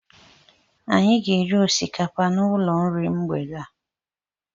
Anyị ga-eri osikapa n'ụlọ iri nri mgbede a.